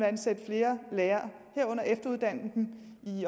ansætte flere lærere herunder efteruddanne dem